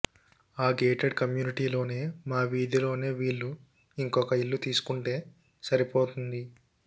ఆ గేటెడ్ కమ్యూనిటీలోనే మా వీధిలోనే వీళ్లు ఇంకొక ఇల్లు తీసుకుంటే సరిపోతుంది